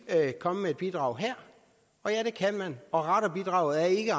komme med et bidrag her og ja det kan vi og radarbidraget er ikke